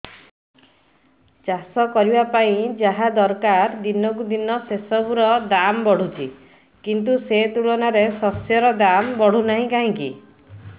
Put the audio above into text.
ଚାଷ କରିବା ପାଇଁ ଯାହା ଦରକାର ଦିନକୁ ଦିନ ସେସବୁ ର ଦାମ୍ ବଢୁଛି କିନ୍ତୁ ସେ ତୁଳନାରେ ଶସ୍ୟର ଦାମ୍ ବଢୁନାହିଁ କାହିଁକି